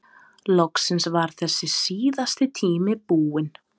Loksins var þessi síðasti tími búinn.